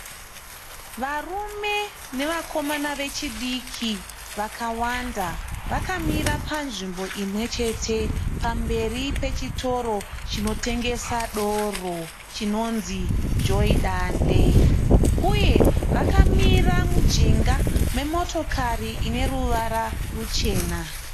Varume nevakomana vechidiki vakawanda vakamira panzvimbo imwe chete pamberi pechitoro chinotengesa doro chinonzi Joy Dande, uye vakamira mujinga memotokari ine ruvara ruchena.